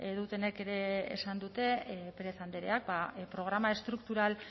dutenek ere esan dute pérez andreak programa estruktural